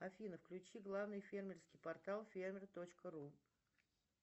афина включи главный фермерский портал фермер точка ру